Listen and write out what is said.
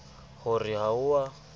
ho re ha o a